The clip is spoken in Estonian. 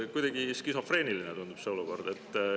Kuidagi skisofreeniline tundub see olukord.